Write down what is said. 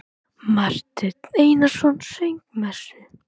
Marteinn Einarsson söng messu.